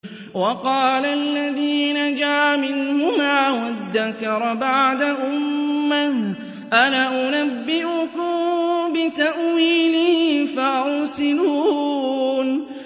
وَقَالَ الَّذِي نَجَا مِنْهُمَا وَادَّكَرَ بَعْدَ أُمَّةٍ أَنَا أُنَبِّئُكُم بِتَأْوِيلِهِ فَأَرْسِلُونِ